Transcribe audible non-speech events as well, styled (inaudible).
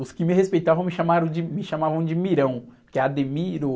Os que me respeitavam me chamaram, me chamavam de Mirão, que é. (unintelligible)